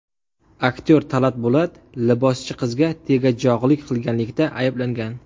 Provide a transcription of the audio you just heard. Aktyor Talat Bulat liboschi qizga tegajog‘lik qilganlikda ayblangan.